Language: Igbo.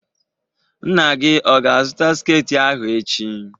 Nna gị ọ ga-azụta sketị ahụ echi?